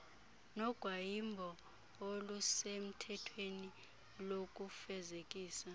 nogwayimbo olusemthethweni lokufezekisa